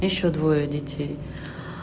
ещё двое детей